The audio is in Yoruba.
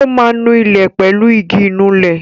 Ó ma nu ilẹ̀ pẹ̀lú igi Ìnulẹ̀